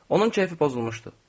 Onun keyfi pozulmuşdu.